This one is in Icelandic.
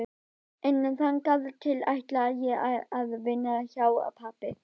En þangað til ætla ég að vinna hjá pabba.